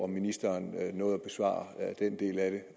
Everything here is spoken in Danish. ministeren nåede at besvare den del af